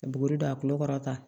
Ka buguri don a kulo kɔrɔ tan